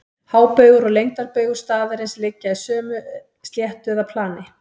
Hábaugur og lengdarbaugur staðarins liggja í sömu sléttu eða plani.